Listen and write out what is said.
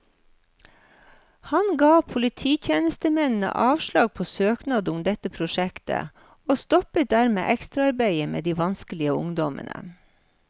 Han ga polititjenestemennene avslag på søknad om dette prosjektet, og stoppet dermed ekstraarbeidet med de vanskelige ungdommene.